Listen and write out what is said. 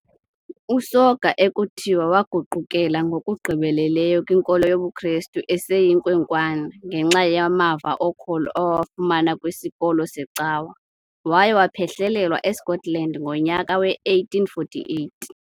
USoga ekuthiwa waguqukela ngokugqibeleleyo kwinkolo yobuKrestu eseyinkwenkwana ngenxa yamava okholo awawafumana kwisikolo secawa, waye waphehlelelwa eScotland ngonyaka we-1848.